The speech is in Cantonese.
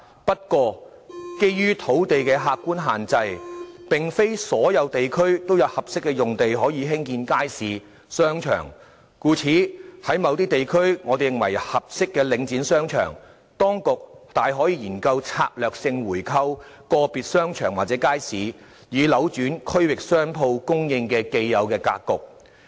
不過，基於土地的客觀限制，並非所有地區都有合適的用地可興建街市及商場，故此我們認為，如果在某些地區有合適的領展商場，當局大可研究策略性購回個別商場或街市，以扭轉區域商鋪供應的既有格局。